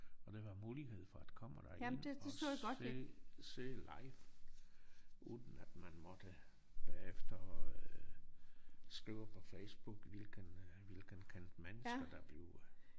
Og der var mulighed for at komme derind og se se live uden at man måtte bagefter skrive på Facebook hvilken hvilken kendt mennesker der blev